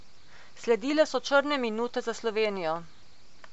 Sledile so črne minute za Slovenijo.